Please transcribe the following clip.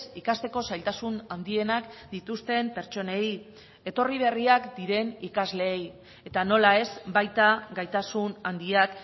ikasteko zailtasun handienak dituzten pertsonei etorri berriak diren ikasleei eta nola ez baita gaitasun handiak